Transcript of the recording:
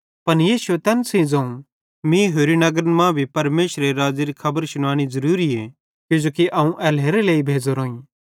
पन यीशुए तैन सेइं ज़ोवं मीं होरि नगरन मां भी परमेशरेरे राज़्ज़ेरी खुशखबरी शुनानी ज़रूरीए किजोकि अवं एल्हेरेलेइ भेज़ोरोईं